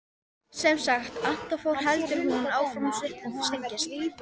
Sem sagt, Anton fór, heldur hún áfram og svipurinn þyngist.